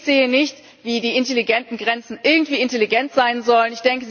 Ich sehe nicht, wie die intelligenten Grenzen irgendwie intelligent sein sollen.